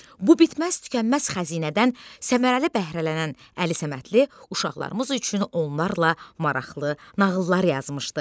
Bu bitməz-tükənməz xəzinədən səmərəli bəhrələnən Əli Səmədli uşaqlarımız üçün onlarla maraqlı nağıllar yazmışdı.